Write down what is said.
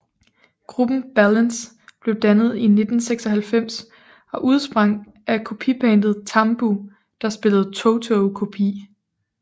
Gruppen Balance blev dannet i 1996 og udsprang af kopibandet TAMBU der spillede Toto kopi